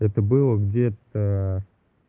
это было где-то